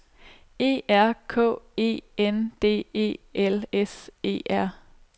E R K E N D E L S E R